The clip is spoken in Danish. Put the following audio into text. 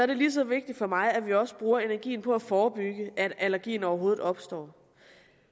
det lige så vigtigt for mig at vi også bruger energi på at forebygge at allergien overhovedet opstår